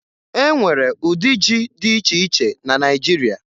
E nwere ụdị ji di iche iche na Naịjiria